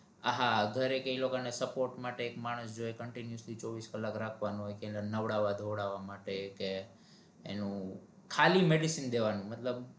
આહા ઘરે કે એ લોકો ને support માટે એક માણસ જોઈ continuously ચોવિસ કલાક રખ્વાનો હોય કે એને નવડાવા ધોવડાવવા માટે કે એનુ ખાલી medicine દેવનુ